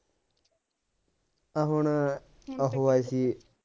ਆ ਹੁਣ ਆਹੋ ਆਏ ਸੀ